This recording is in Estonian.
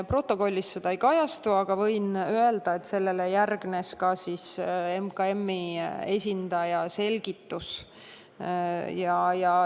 Protokollis see ei kajastu, aga võin öelda, et sellele järgnes Majandus- ja Kommunikatsiooniministeeriumi esindaja selgitus.